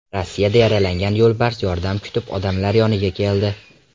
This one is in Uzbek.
Rossiyada yaralangan yo‘lbars yordam kutib odamlar yoniga keldi.